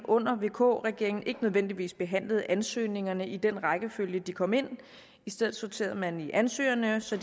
under en vk regering ikke nødvendigvis behandlede ansøgningerne i den rækkefølge de kom ind i stedet sorterede man i ansøgerne så